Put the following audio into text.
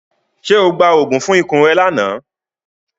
Ṣe o gba oogun fun ikun rẹ lana?